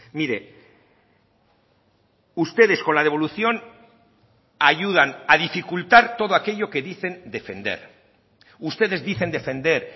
mire ustedes con la devolución ayudan a dificultar todo aquello que dicen defender ustedes dicen defender